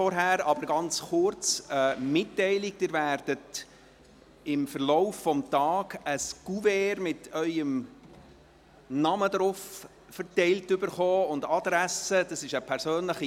Zuvor eine ganz kurze Mitteilung: Sie werden im Verlauf des Tages ein Kuvert ausgeteilt erhalten, auf dem Ihr Name und Ihre Adresse stehen.